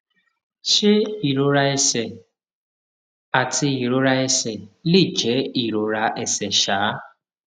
ṣé ìrora ẹsè àti ìrora ẹsè lè jé ìrora ẹsè um